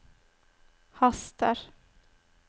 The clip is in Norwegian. haster